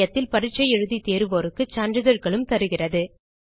இணையத்தில் பரீட்சை எழுதி தேர்வோருக்கு சான்றிதழ்களும் தருகிறது